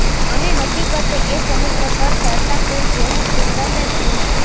અને હકીકતે એ સમુદ્ર પર તરતા ફૂલ જેવું જ સુંદર ને નમણું હતું